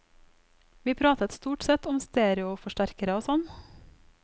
Vi pratet stort sett om stereoforsterkere og sånn.